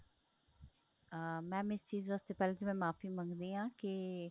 ਅਹ mam ਇਸ ਚੀਜ਼ ਵਾਸਤੇ ਪਹਿਲਾਂ ਤਾਂ ਮੈਂ ਮੁਆਫ਼ੀ ਮੰਗਦੀ ਆ ਕੀ